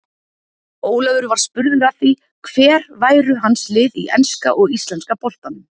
Ólafur var spurður að því hver væru hans lið í enska og íslenska boltanum.